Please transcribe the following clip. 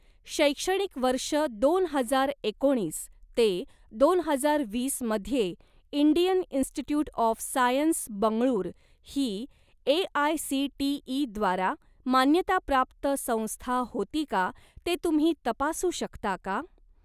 शैक्षणिक वर्ष दोन हजार एकोणीस ते दोन हजार वीसमध्ये Indian institute of science Bengaluru ही ए.आय.सी.टी.ई.द्वारा मान्यताप्राप्त संस्था होती का ते तुम्ही तपासू शकता का?